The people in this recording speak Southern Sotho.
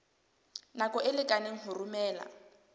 nako e lekaneng ho romela